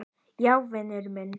Já, vinur minn.